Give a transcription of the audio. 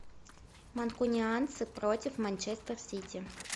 манкунианцы против манчестер сити